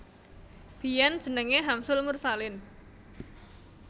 Biyèn jenengé Hamsul Mursalin